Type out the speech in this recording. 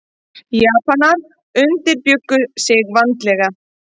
Japanar undirbjuggu sig vandlega.